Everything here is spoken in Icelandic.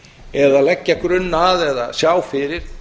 eða leggja grunn að eða sjá fyrir